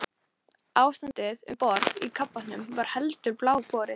Ástandið um borð í kafbátnum var heldur bágborið.